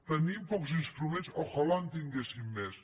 tenim pocs instruments tant de bo en tinguéssim més